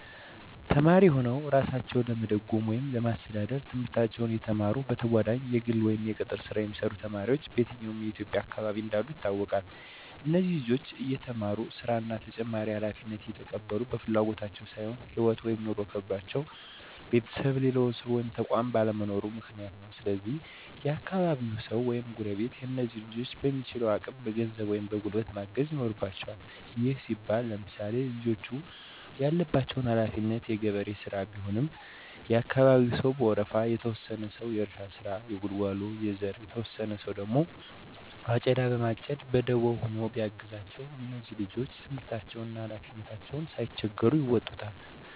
ተማሪ ሁነዉ እራሳቸዉን ለመደጎም ወይም ለማስተዳደር፤ ትምህርታቸዉን እየተማሩ በተጋጓዳኝ የግል ወይም የቅጥር ሥራ የሚሰሩ ተማሪዎች በየትኛዉም የኢትዬጵያ አካባቢ እንዳሉ ይታወቃል። እነዚህ ልጆች እየተማሩ ሥራ እና ተጨማሪ ሀላፊነት የተቀበሉት በፍላጎት ሳይሆን ህይወት (ኑሮ) ከብዷቸዉ ቤተሰብ፣ ሌላ ሰዉ ወይም ተቋማት ባለመኖራቸዉ ምክንያት ነው። ስለዚህ የአካባቢያቸዉ ሰዉ ወይም ጎረቤቶች እነዚህን ልጆች በሚችሉት አቅም በገንዘብ ወይም በጉልበት ማገዝ ይኖርበቸዋል። ይህም ሲባል ለምሳሌ፦ ልጆቹ ያለባቸው ሀለፊነት የገበሬ ሥራ ቢሆን የአካባቢያቸው ሰዉ በወረፋ፤ የተወሰነ ሰዉ የእርሻ ስራ፣ የጉልጓሎ፣ የዘር እና የተወሰነ ሰዉ አጨዳ በማጨድ በደቦ ሆኖ ቢያግዛቸዉ እነዚህ ልጆች ትምህርታቸዉንም ሀላፊነታቸዉንም ሳይቸገሩ ይወጡታል።